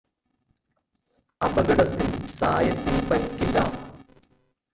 അപകടത്തിൽ സായത്തിന് പരിക്കില്ല